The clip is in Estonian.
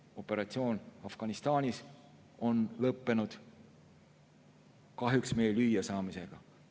Operatsioon Afganistanis on lõppenud, kahjuks meie lüüasaamisega.